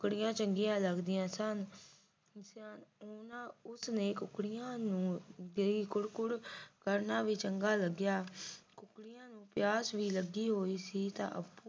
ਕੁੱਕੜੀਆਂ ਚੰਗੀਆਂ ਲਗਦੀਆਂ ਸਨ ਉਹਨਾਂ ਉਸ ਨੇ ਟੁਕੜਿਆਂ ਨੂੰ ਜਿਹੜਾ ਕੁੜ ਕੁੜ ਕਰਨਾ ਵੀ ਚੰਗਾ ਲੱਗਿਆ ਟੁਕੜਿਆਂ ਨੂੰ ਪਿਆਸ ਵੀ ਲੱਗੀ ਹੋਈ ਸੀ ਤੇ ਅਪੁ ਨੇ